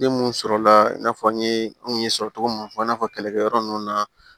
Den mun sɔrɔla i n'a fɔ n ye n kun ye sɔrɔ cogo mun fɔ i n'a fɔ kɛlɛkɛyɔrɔ ninnu na